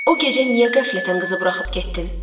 O gecə niyə qəflətən qızı buraxıb getdin?